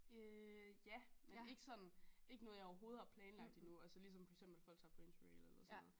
Øh ja men ikke sådan ikke noget jeg overhovedet har planlagt endnu altså ligesom for eksempel folk tager på interrail eller sådan noget